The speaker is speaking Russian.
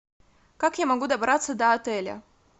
как я могу добраться до отеля